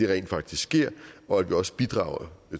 ren faktisk sker og at vi også bidrager